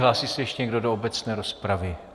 Hlásí se ještě někdo do obecné rozpravy?